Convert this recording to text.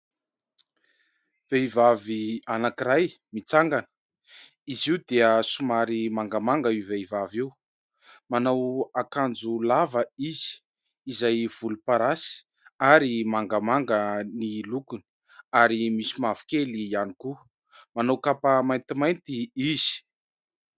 Vehivavy anankiray mitsangana. Izy io dia somary mangamanga io vehivavy io. Manao akanjo lava izy izay volomparasy ary mangamanga ny lokony ary misy mavokely ihany koa. Manao kapa maintimainty izy.